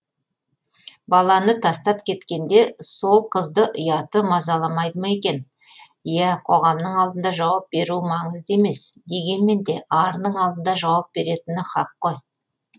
баланы тастап кеткенде сол қызды ұяты мазаламайды ма екен ия қоғамның алдында жауап беруі маңызды емес дегенменде арының алдында жауап беретіні һақ қой